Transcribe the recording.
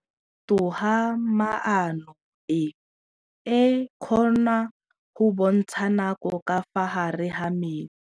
Toga-maanô e, e kgona go bontsha nakô ka fa gare ga metsi.